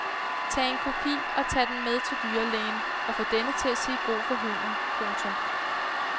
Tag en kopi og tag den med til dyrlægen og få denne til at sige god for hunden. punktum